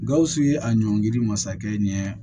Gawusu ye a ɲɔngiri masakɛ ɲɛ